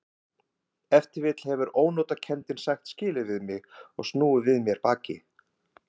Ef til vill hefur ónotakenndin sagt skilið við mig og snúið við mér baki.